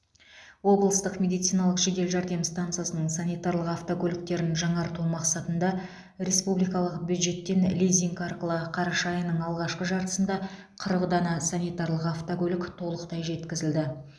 облыстық медициналық жедел жәрдем стансасының санитарлық автокөліктерін жаңарту мақсатында республикалық бюджеттен лизинг арқылы қараша айының алғашқы жартысында қырық дана санитарлық автокөлік толықтай жеткізілді